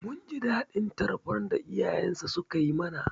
Mun ji daɗin tarbar da iyayensa sukai mana.